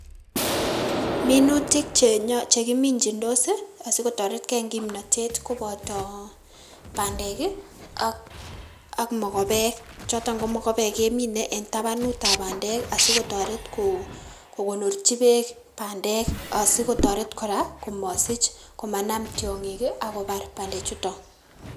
Minutik chekimijindos asikotoretgei en kimnotet koboto bandek ak mokobeek, choton komokobeek kemine en tabanutab bandek asikotoret kokonorchi beek bandek asikotoret kora komosich komanam tiong'ik ii akobar bandechuton.